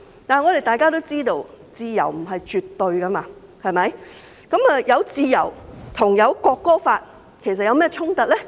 但我們都知道自由不是絕對的，自由跟《條例草案》有何衝突呢？